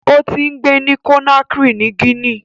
Ó ti ń gbé ní Conakry ni Guinea.